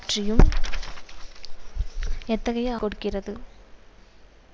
ஆதரவாளர்களை விரும்புகிறார் என்பது பற்றிய குறிப்பையும் இது கொடுக்கிறது